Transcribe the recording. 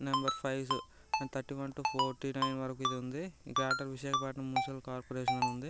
Number five thirty one to forty nine వరకు ఉంది Greater Visakhapatnam Municipal Corporation అని ఉంది.